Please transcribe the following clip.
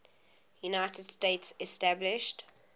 united states established